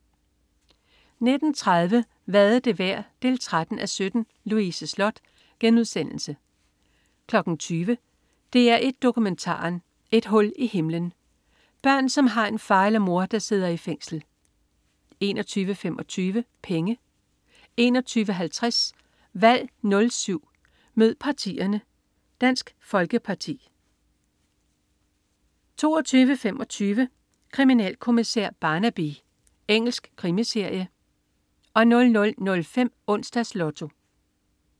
19.30 Hvad er det værd? 13:17 Louise Sloth * 20.00 DR1 Dokumentaren. Et hul i himlen. Børn som har en far eller mor, der sidder i fængsel 21.25 Penge 21.50 Valg 07 mød partierne: Dansk Folkeparti 22.25 Kriminalkommissær Barnaby. Engelsk krimiserie 00.05 Onsdags Lotto